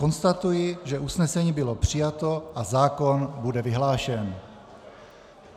Konstatuji, že usnesení bylo přijato a zákon bude vyhlášen.